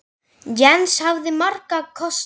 Jens hafði marga kosti.